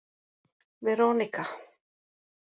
Veronika